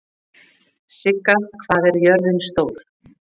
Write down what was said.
Sigga, hvað er jörðin stór?